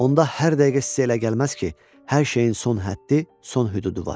Onda hər dəqiqə sizə elə gəlməz ki, hər şeyin son həddi, son hüdudu var.